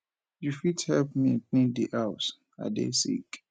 you fit help me clean di house i dey sick